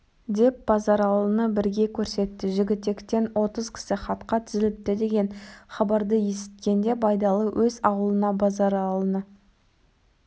деп базаралыны бірге көрсетті жігітектен отыз кісі хатқа тізіліпті деген хабарды есіткенде байдалы өз аулына базаралыны